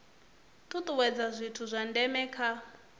tutuwedza zwithu zwa ndeme kha